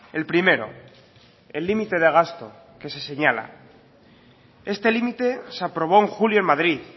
el primero el límite de gasto que se señala este límite se aprobó en julio en madrid